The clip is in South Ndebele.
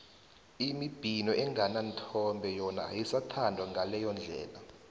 imibhino engananthombe yona ayisathandwa ngaleyo ndlela